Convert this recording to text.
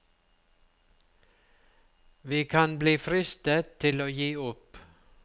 Vi kan bli fristet til å gi opp.